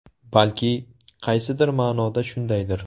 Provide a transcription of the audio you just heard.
Balki, qaysidir ma’noda shundaydir.